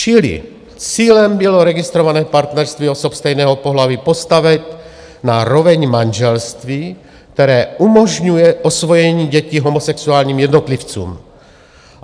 Čili cílem bylo registrované partnerství osob stejného pohlaví postavit na roveň manželství, které umožňuje osvojení dětí homosexuálním jednotlivcům.